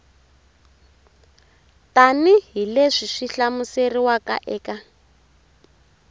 tanihi leswi swi hlamuseriwaka eka